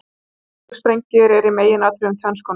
Kjarnorkusprengjur eru í meginatriðum tvenns konar.